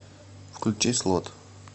включи слот